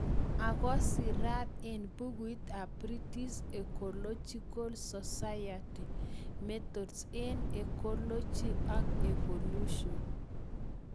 Ako sirat eng' bukuit ab British Ecological Society - Methods eng' Ecology ak Evolution